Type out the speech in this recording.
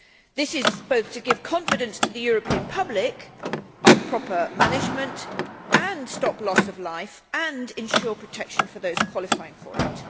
This is to give confidence to the European public of proper management as well as to stop loss of life and to ensure protection for those qualifying for it.